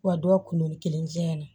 Wa dɔw kunun ni kelenya na